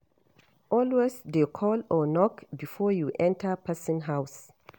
Alway de call or Knock before you enter person house